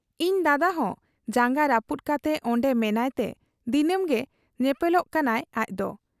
ᱤᱧ ᱫᱟᱫᱟᱦᱚᱸ ᱡᱟᱝᱜᱟ ᱨᱟᱹᱯᱩᱫ ᱠᱟᱛᱮ ᱚᱱᱰᱮ ᱢᱮᱱᱟᱸᱭᱛᱮ ᱫᱤᱱᱟᱹᱢ ᱜᱮ ᱧᱮᱯᱮᱞᱚᱜ ᱠᱟᱱᱟᱭ ᱟᱡᱫᱚ ᱾